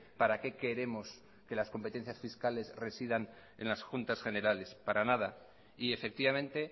para qué queremos que las competencias fiscales residan en las juntas generales para nada y efectivamente